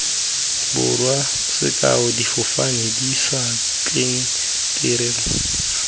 borwa sekao difofane dišatlelle diterena